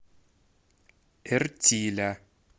эртиля